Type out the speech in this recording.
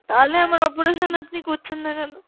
তাহলে আমার operation আপনি করছেন না কেন?